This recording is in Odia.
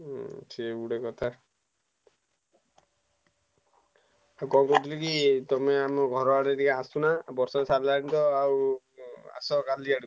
ହୁଁ ସିଏ ବି ଗୋଟେ କଥା ଆଉ କଣ କହୁଥିଲି କି ଆମ ଘରଦକୁ ଆସୁନ ବର୍ଷା ଛାଡ଼ିଲାଣିତ ଆଉ ଆସ କାଲି ଆଡକୁ।